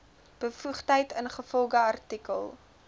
bevoegdheid ingevolge artikel